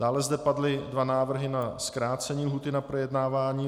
Dále zde padly dva návrhy na zkrácení lhůty k projednávání.